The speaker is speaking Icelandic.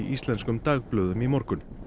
íslenskum dagblöðum í morgun